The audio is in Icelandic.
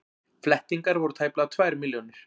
Flettingar voru tæplega tvær milljónir.